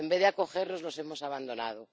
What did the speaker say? En vez de acogerlos, los hemos abandonado